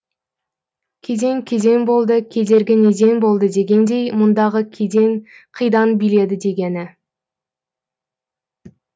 кеден кеден болды кедергі неден болды дегендей мұндағы кеден қидан биледі дегені